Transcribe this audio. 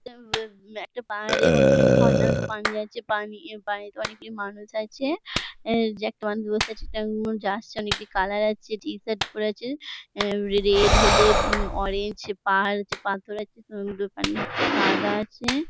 উম-ব- একটা পাহাড়ে অ-ঝর্ণাতে পানি আছে | পানি পানিতে অনেকই মানুষ আছে | কালার আছে টি শার্ট পরে আছে। রেড হলদেউম- অরেঞ্জ পাহাড় হচ্ছে পাথর আছে আছে।